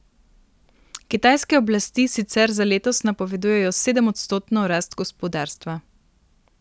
Kitajske oblasti sicer za letos napovedujejo sedemodstotno rast gospodarstva.